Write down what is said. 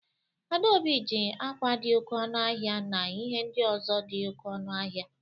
Adaobi ji akwa dị oké ọnụ ahịa na ihe ndị ọzọ dị oké ọnụ ahịa.